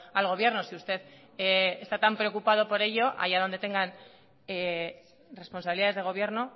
al gobierno si usted está tan preocupado por ello allá donde tengan responsabilidades de gobierno